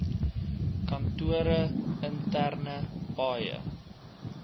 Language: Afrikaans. kantore interne paaie